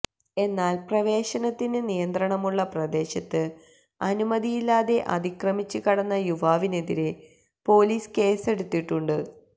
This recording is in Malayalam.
എന്നാല് പ്രവേശനത്തിന് നിയന്ത്രണമുള്ള പ്രദേശത്ത് അനുമതിയില്ലാതെ അതിക്രമിച്ച് കടന്ന യുവാവിനെതിരെ പോലീസ് കേസെടുത്തിട്ടുണ്ട്